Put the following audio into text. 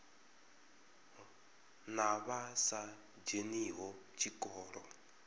na vha sa dzheniho tshikolo